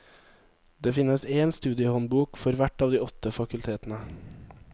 Det finnes én studiehåndbok for hvert av de åtte fakultetene.